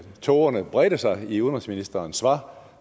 tågerne bredte sig i udenrigsministerens svar